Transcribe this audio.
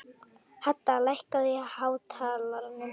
Hadda, lækkaðu í hátalaranum.